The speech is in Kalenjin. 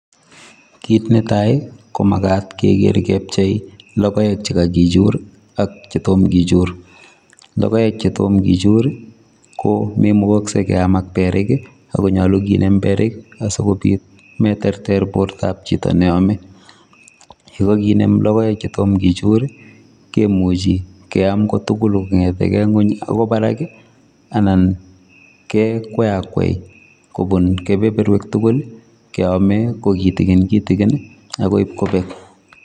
Kit netai ko makat Keker kepchei lokoek chekakichur ak chetom kichuri, lokoek chetom kichuri ko memukokse keam ak beriki ako nyolu nkimem beriki asikobit kometerter bortab chito neome ako kinem lokoek chetom kechuri kemuchi kiam kotukul kongetengee ngwek akoi baraki anan ke kwakwai kobun kebeberwek tuku keome ko kitikin kitikini akoi kobeck.